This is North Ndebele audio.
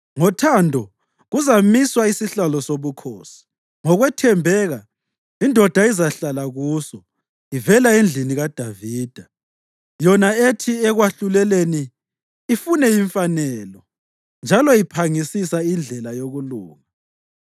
Ngothando, kuzamiswa isihlalo sobukhosi; ngokwethembeka, indoda izahlala kuso, ivela endlini kaDavida, yona ethi ekwahluleleni ifune imfanelo, njalo iphangisisa indlela yokulunga.